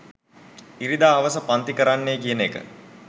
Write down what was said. ඉරිදා හවස පන්ති කරන්න කියන එක.